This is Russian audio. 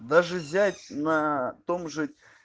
даже взять на том же